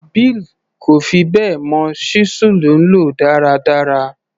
Bill kò fi bẹ́ẹ̀ mọ ṣísẹ́ẹ̀lì lò dáradára.